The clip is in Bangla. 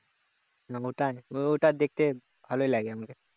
ও ওইটা ওইটা দেখতে ভালোই লাগে আমাকে